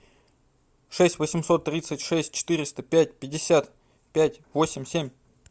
шесть восемьсот тридцать шесть четыреста пять пятьдесят пять восемь семь